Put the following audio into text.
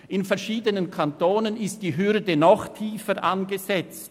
In verschiedenen Kantonen ist die Hürde noch tiefer angesetzt.